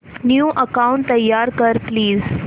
new account तयार कर please